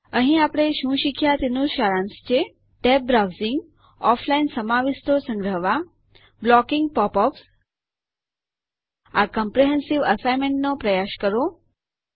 અહીં આપણે શું શીખ્યા તેનું સારાંશ છે ટેબ્ડ બ્રાઉઝિંગ ઑફલાઇન સમાવિષ્ટો સંગ્રહવા બ્લોકીંગ પૉપ અપ્સ આ ક્મ્પ્રેહેન્સીવ અસાઇનમેન્ટ નો પ્રયાસ કરો